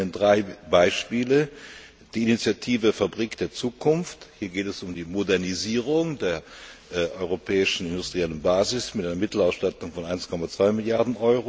Ich nenne Ihnen drei Beispiele die Initiative Fabrik der Zukunft hier geht es um die Modernisierung der europäischen industriellen Basis mit einer Mittelausstattung von 1,2 Mrd.